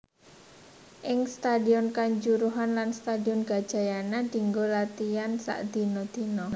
Ing Stadion Kanjuruhan lan Stadion Gajayana dianggo latihan sakdina dina